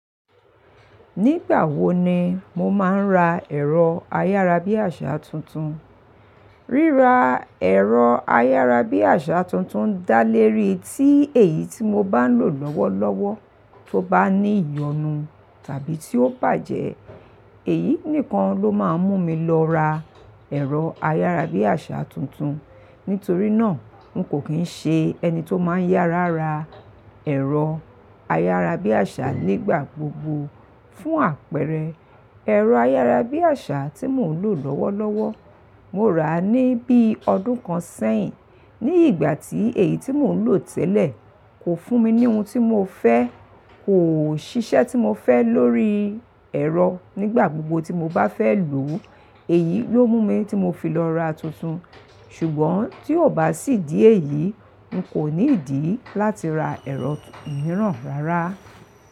Nígbà wo ni mo máa ń ra ẹ̀rọ ayárabíàṣá tuntun? Ríra ẹ̀rọ ayárabíàṣá tuntun dálérí tí èyí tí mo bá ń lò lọ́wọ́lọ́wọ́ tó bá ní ìyọnu tàbí tí ó bàjẹ́. Èyí nìkan ló máa ń mú mi lọ ra ẹ̀rọ ayárabíàṣá tuntun. Nítorí náà, n kò kín ṣe ẹni tó máa ń yára ra ẹ̀rọ ayárabíàṣá nígbà gbogbo. Fún àpẹẹrẹ, ẹ̀rọ ayárabíàṣá tí mò ń lò lọ́wọ́lọ́wọ́, mo rà á ní bí ọdún kan sẹ́yin. Ní ìgbà tí èyí tí mò ń lò tẹ́lẹ̀ kò fún mi ní ohun tí mo fẹ́, kò ṣiṣẹ́ tí mo fẹ́ lórí ẹ̀rọ nígbà gbogbo tí mo bá fẹ́ lò ó, èyí ló mú mi tí mo fi lọ ra tuntun. Ṣùgbọ́n tí ò bá sí ìdí èyí, n kò ní ìdí láti ra ẹ̀rọ mìíràn rárá.